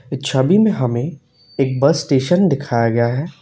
छबी में हमें एक बस स्टेशन दिखाया गया है।